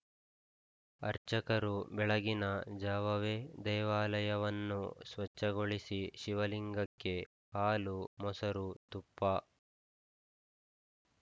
ಅರ್ಚಕರು ಬೆಳಗಿನ ಜಾವವೇ ದೇವಾಲಯವನ್ನು ಸ್ವಚ್ಛಗೊಳಿಸಿ ಶಿವಲಿಂಗಕ್ಕೆ ಹಾಲು ಮೊಸರು ತುಪ್ಪ